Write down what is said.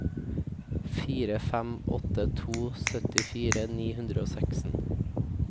fire fem åtte to syttifire ni hundre og seksten